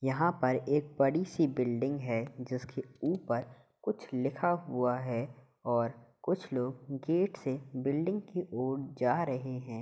यहां पर एक बडी सी बिल्डिंग है जिसके उपर कुछ लिखा हुआ है और कुछ लोग गेट से बिल्डिंग की ओर जा रहे हैं।